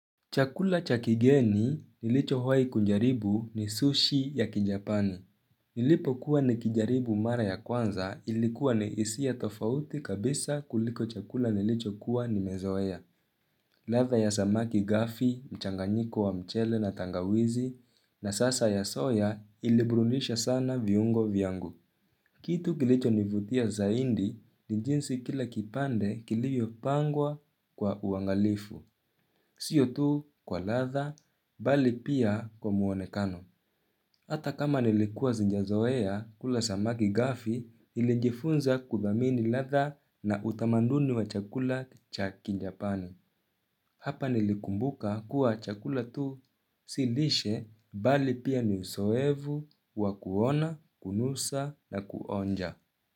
Chakula cha kigeni nilichowahi kujaribu ni sushi ya kijapani. Nilipokuwa nikijaribu mara ya kwanza ilikuwa ni hisia tofauti kabisa kuliko chakula nilichokuwa nimezoea. Ladha ya samaki gafi, mchanganyiko wa mchele na tangawizi na sasa ya soya iliburudisha sana viungo vyangu. Kitu kilichonivutia zaidi ni jinsi kila kipande kilivyopangwa kwa uangalifu. Sio tu kwa ladha bali pia kwa muonekano. Hata kama nilikuwa sijazoea kula samaki gafi, nilijifunza kuthamini ladha na utamaduni wa chakula cha kijapani. Hapa nilikumbuka kuwa chakula tu si lishe bali pia ni uzoefu wa kuona, kunusa na kuonja.